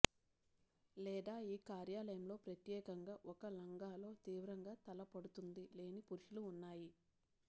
లేదా ఈ కార్యాలయంలో ప్రత్యేకంగా ఒక లంగా లో తీవ్రంగా తల పడుతుంది లేని పురుషులు ఉన్నాయి